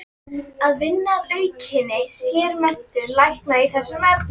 Að vinna að aukinni sérmenntun lækna í þessum efnum.